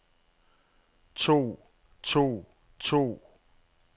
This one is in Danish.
tog tog tog